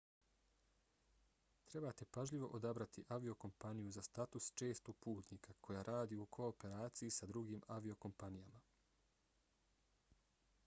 trebate pažljivo odabrati aviokompaniju za status čestog putnika koja radi u kooperaciji s drugim aviokompanijama